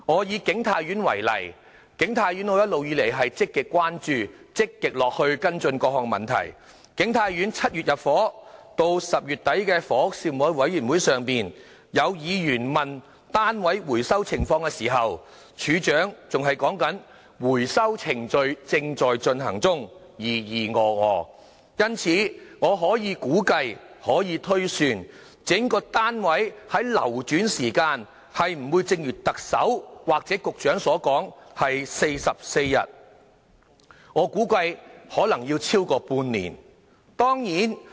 以景泰苑為例——我一直積極關注並跟進景泰苑的各項問題 ——7 月入伙，到10月底房屋事務委員會上，有議員問及單位回收的情況時，署長還在說"回收程序正在進行中"，支吾以對，因此，我可以估計及推算單位的流轉時間並不會如特首或局長所說需時44天，我估計可能超過半年。